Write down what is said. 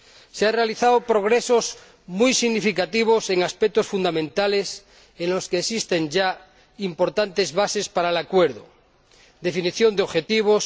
Se han realizado progresos muy significativos en aspectos fundamentales en los que existen ya importantes bases para el acuerdo definición de objetivos